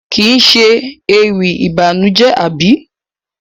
Kii ṣe ewì ìbànújẹ àbí?